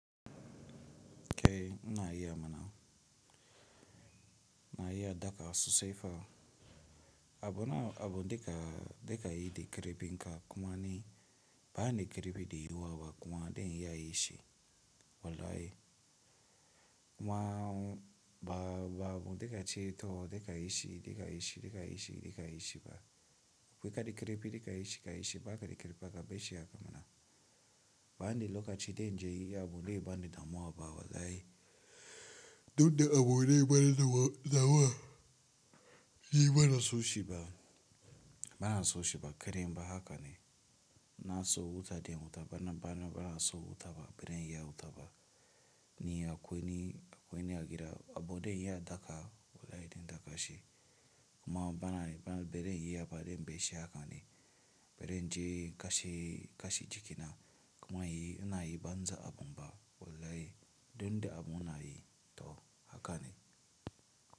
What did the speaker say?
Eh ina iya ma na. Na yi a dafawa sosai sefa. Abu duka yi da ƙarfin ka kuma ni ba ni da ƙarfi da yawa ba kuwa zan iya yin shi Wallahi. Kuma ba ba ab de ka ce to de ka ishi de ka ishi de ka ishi de ka ishi ba. Kwai ka de kerepi de ka ishi ka ishi ba ka de kerepi ka be ishi a ka ma na. Ba ni da lokaci da zan je nayi abu wanda zai bani damuwa ba wallahi Dun de a bo le ba ni na mwa na mwa yi ba na so shi ba. Ba na so shi ba kere ba haka ne. Na so wuta de wuta ba na ba na ba na so wuta ba be de yi a wuta ba. Ni a kweni a kweni a gira a bo de yi a daga wallahi de daga shi. Kuma ba na ba na be de yi a ba de be ishi haka ne. Be de in ka she jiki na kuma ina yi banza a bum ba wallahi. Dun de a bo na yi to haka ne.